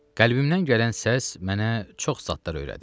Qəlbimdən gələn səs mənə çox zatlar öyrədir.